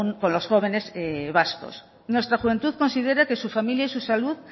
con los jóvenes vascos nuestra juventud considera que su familia y su salud